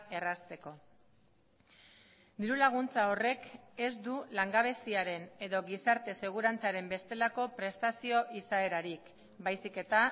errazteko diru laguntza horrek ez du langabeziaren edo gizarte segurantzaren bestelako prestazio izaerarik baizik eta